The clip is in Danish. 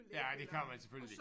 Ja det kan man selvfølgelig